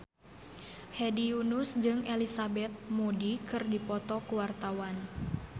Hedi Yunus jeung Elizabeth Moody keur dipoto ku wartawan